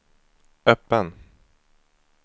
öppen